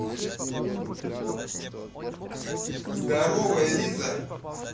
здоровая лиза